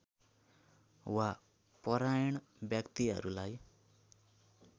वा परायण व्यक्तिहरूलाई